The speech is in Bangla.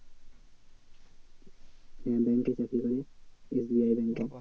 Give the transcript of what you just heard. হ্যাঁ bank এ চাকরি করে SBI bank এ